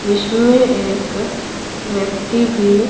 इसमें एक व्यक्ति भी--